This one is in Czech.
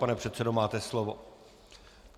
Pane předsedo, máte slovo.